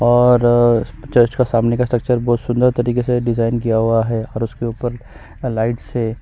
और चर्च का सामने का स्ट्रक्चर बहुत ही सुंदर तरीके से डिजाइन किया हुआ है और उसके ऊपर लाइट से--